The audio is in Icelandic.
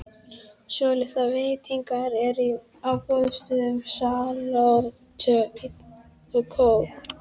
Svolitlar veitingar eru á boðstólum, salöt og kók.